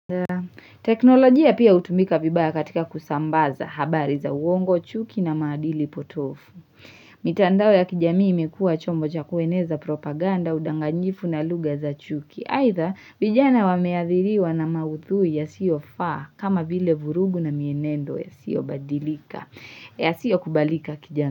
Teknolojia pia utumika vibaya katika kusambaza habari za uongo chuki na maadili potofu mitandao ya kijamii imekua chombo cha kueneza propaganda udanganyifu na lugha za chuki Aidha vijana wameathiriwa na maudhui yasiyo faa kama vile vurugu na mienendo yasiyo badilika yasiyo kubalika kijamii.